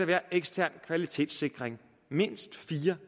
være ekstern kvalitetssikring mindst fire